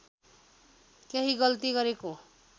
केही गल्ती गरेको